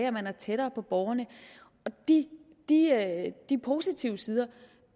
at man er tættere på borgerne og det positive